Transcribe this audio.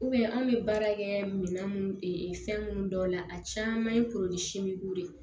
anw bɛ baara kɛ minan mun fɛn minnu dɔw la a caman ye de ye